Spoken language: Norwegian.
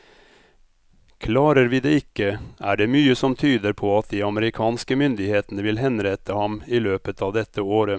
Klarer vi det ikke, er det mye som tyder på at de amerikanske myndighetene vil henrette ham i løpet av dette året.